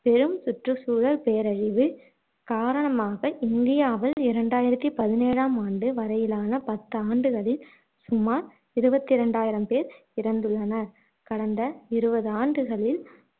பெரும் சுற்றுச்சுழல் பேரழிவு காரணமாக இந்தியாவில் இரண்டாயிரத்தி பதினேழாம் ஆண்டு வரையிலான பத்து ஆண்டுகளில் சுமார் இருபத்தி இரண்டாயிரம் பேர் இறந்துள்ளனர் கடந்த இருவது ஆண்டுகளில்